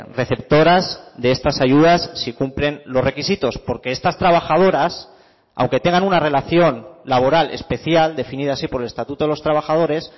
receptoras de estas ayudas si cumplen los requisitos porque estas trabajadoras aunque tengan una relación laboral especial definida así por el estatuto de los trabajadores